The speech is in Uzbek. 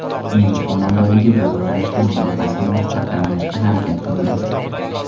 Nemis qo‘mondonligi bu yo‘nalishda mudofaasini mustahkamlashga harakat qildi.